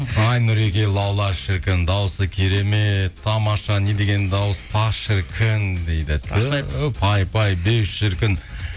ай нұреке лаула шіркін дауысы керемет тамаша не деген дауыс пах шіркін дейді рахмет ту пай пай беу шіркін